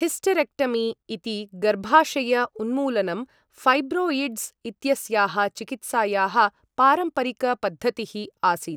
Hysterectomy इति गर्भाशय उन्मूलनं, फ़ैब्रौयिड्स् इत्यस्याः चिकित्सायाः पारम्परिक पद्धतिः आसीत्।